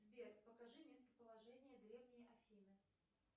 сбер покажи местоположение древней афины